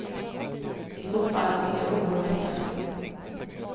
I så fall är det oroväckande.